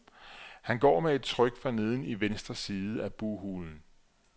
Han går med et tryk forneden i venstre side af bughulen.